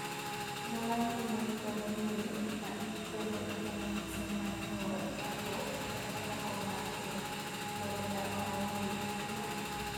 Joma mine kod nyiri ma ikwedo kuom mise mar nyuol kapok, kata oko mar keny, thoro dak maonge dichwo.